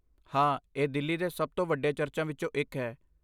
ਹਾਂ, ਇਹ ਦਿੱਲੀ ਦੇ ਸਭ ਤੋਂ ਵੱਡੇ ਚਰਚਾਂ ਵਿੱਚੋਂ ਇੱਕ ਹੈ।